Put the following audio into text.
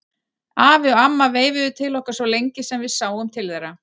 Afi og amma veifuðu til okkar svo lengi sem við sáum til þeirra.